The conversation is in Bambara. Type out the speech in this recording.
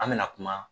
An bɛna kuma